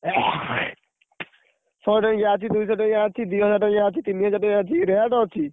ଶହେ ଟଙ୍କିଆ ଅଛି ଦିହଜାର ଟଙ୍କିଆ ଅଛି ତିନିହଜାର ଟଙ୍କିଆ ଅଛି rate ଅଛି।